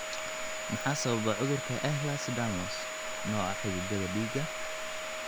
Maxaa sababa cudurka Ehlers Danlos , nooca xididdada dhiigga?